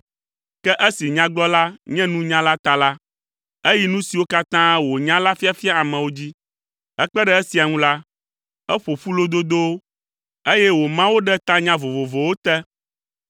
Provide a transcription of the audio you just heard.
Ke esi Nyagblɔla nye nunyala ta la, eyi nu siwo katã wònya la fiafia amewo dzi. Hekpe ɖe esia ŋu la, eƒo ƒu lododowo, eye wòma wo ɖe tanya vovovowo te,